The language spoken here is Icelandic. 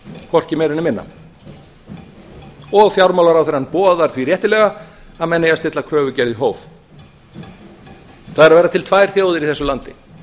hvorki meira né minna og fjármálaráðherrann boðar því réttilega að menn eigi að stilla kröfugerð í hóf það eru að verða til tvær þjóðir í þessu landi